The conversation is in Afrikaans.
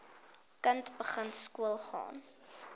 kind begin skoolgaan